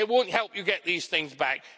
It won't help you get these things back.